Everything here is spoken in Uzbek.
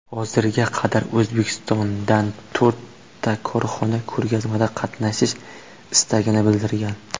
Hozirga qadar O‘zbekistondan to‘rtta korxona ko‘rgazmada qatnashish istagini bildirgan.